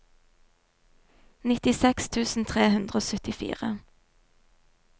nittiseks tusen tre hundre og syttifire